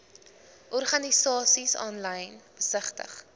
organisasies aanlyn besigtig